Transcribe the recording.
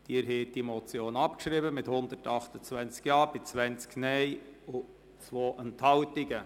Sie haben die Motion abgeschrieben mit 128 Ja-Stimmen bei 20 Nein-Stimmen und 2 Enthaltungen.